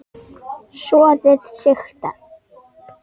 Soðið sigtað.